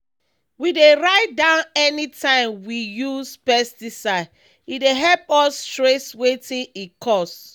we dey write down anytime we use pesticide—e dey help us trace wetin e cause.